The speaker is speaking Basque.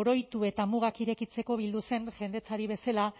oroitu eta mugak irekitzeko bildu zen jendetzari bezala